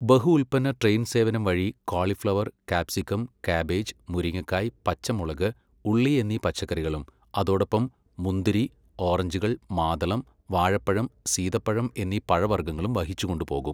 ബഹു ഉല്പ്പന്ന ട്രെയിൻ സേവനം വഴി ക്വാളിഫ്ളവർ , കാപ്സിക്കം, കാബേജ്, മുരിങ്ങക്കായ്, പച്ചമുളക് , ഉള്ളി എന്നീ പച്ചക്കറികളും അതോടൊപ്പം മുന്തിരി, ഓറഞ്ചുകൾ , മാതളം, വാഴപ്പഴം, സീതപ്പഴം എന്നീ പഴവർഗ്ഗങ്ങളും വഹിച്ചുകൊണ്ടുപോകും.